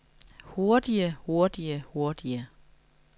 hurtige hurtige hurtige